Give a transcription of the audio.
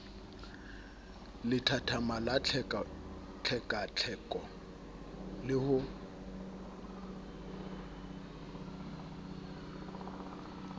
lethathama la tlhekatlheko le ho